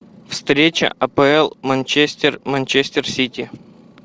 встреча апл манчестер манчестер сити